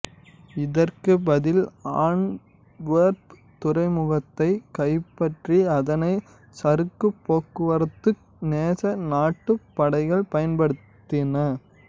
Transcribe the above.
இதற்குப் பதில் ஆண்ட்வெர்ப் துறைமுகத்தைக் கைப்பற்றி அதனைச் சரக்குப் போக்குவரத்துக்கு நேச நாட்டுப் படைகள் பயன்படுத்தின